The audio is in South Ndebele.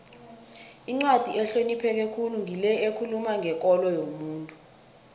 incwadi ehlonipheke khulu ngile ekhuluma ngekolo yomuntu